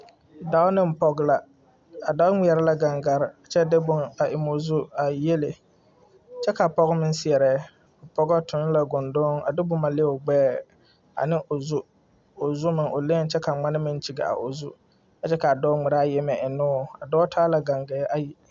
Dɔɔ neŋ pɔge la a dɔɔ ngmɛrɛ la gaŋgarre kyɛ de bon a eŋmoo zu a yiele kyɛ ka pɔge meŋ seɛrɛ a pɔgɔ tuŋ la goŋdoŋ a de boma le o gbɛɛ ane o zu o zu meŋ o leeŋ kyɛ ka ngmane meŋ kyige a o zu a kyɛ kaa dɔɔ ngmiraa yieme eŋnoo a dɔɔ taa la gaŋgaɛ ayi.